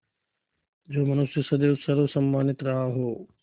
जो मनुष्य सदैव सर्वसम्मानित रहा हो